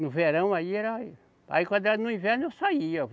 No verão aí era... Aí quando era no inverno, eu saía.